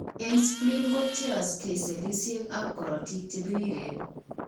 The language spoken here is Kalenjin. Eng' spleen kobcheyokse cellisiek ab korotik chebiriren